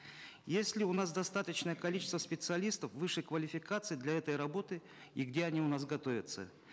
есть ли у нас достаточное количество специалистов высшей квалификации для этой работы и где они у нас готовятся